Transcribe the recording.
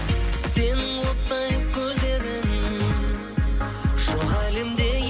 сенің оттай көздерің жоқ әлемде